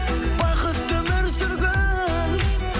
бақытты өмір сүргін